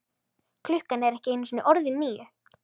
Klukkan er ekki einu sinni orðin níu.